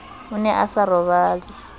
o ne a sa robale